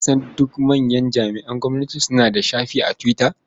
Kusan duk manyan jami'an gwamnati suna da shafi a Twitter.